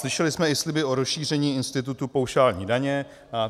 Slyšeli jsme i sliby o rozšíření institutu paušální daně.